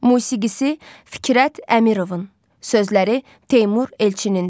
Musiqisi Fikrət Əmirovun, sözləri Teymur Elçinin.